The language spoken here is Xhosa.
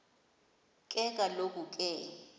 ke kaloku ke